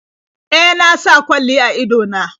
E, na sa kwalli a ido na.